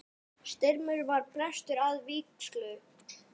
Styrmir var prestur að vígslu.